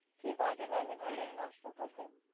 কি বাজে লাগে না এই নষ্ট করলে?